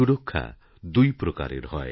সুরক্ষা দুই প্রকারের হয়